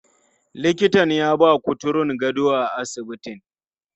Likitan ya ba kuturun gado a asibitin.